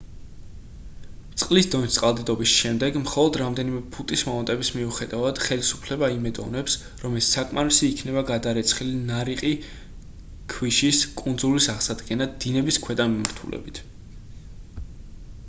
წყლის დონის წყალდიდობის შემდეგ მხოლოდ რამდენიმე ფუტით მომატების მიუხედავად ხელისუფლება იმედოვნებს რომ ეს საკმარისი იქნება გადარეცხილი ნარიყი ქვიშის კუნძულის აღსადგენად დინების ქვედა მიმართულებით